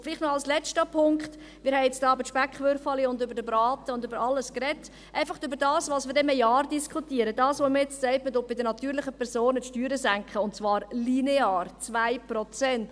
Und vielleicht noch ein letzter Punkt: Wir haben nun hier über die Speckwürfelchen und den Braten und so weiter gesprochen – einfach über das, was wir dann in einem Jahr diskutieren und wo man jetzt sagt, man senke bei den natürlichen Personen die Steuern, und zwar linear, um 2 Prozent.